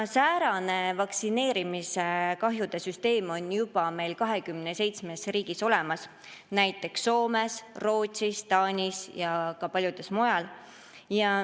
Säärane vaktsineerimise kahjude süsteem on olemas juba 27 riigis, näiteks Soomes, Rootsis, Taanis ja ka mujal.